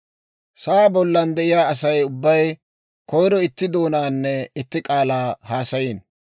Sa'aa bollan de'iyaa Asay ubbay koyro itti doonaanne itti k'aalaa haasayiino.